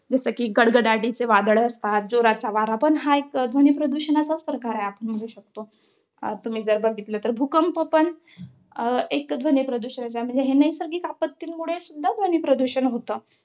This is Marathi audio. जस कि, गडगडाटीचं वादळ असतात. जोराचा वारा, हा पण एक ध्वनीप्रदूषणाचाच एक प्रकार आहे, आपण म्हणू शकतो. आता तुम्ही जर बघितलं तर भूकंप पण एक ध्वनीप्रदूषणाचा म्हणजे हे नैसर्गिक आपत्तींमुळे सुद्धा ध्वनीप्रदूषण होतं.